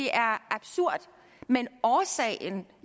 er absurd men årsagen